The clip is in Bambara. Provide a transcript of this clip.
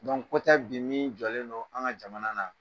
ko tɛ bi min jɔlen don an ka jamana na